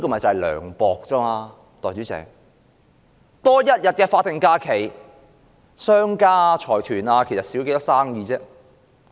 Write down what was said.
代理主席，多增一天法定假日，商家和財團的生意會減少多少？